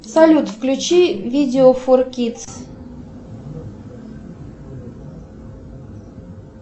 салют включи видео фор кидс